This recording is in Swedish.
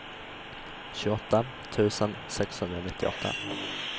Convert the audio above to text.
tjugoåtta tusen sexhundranittioåtta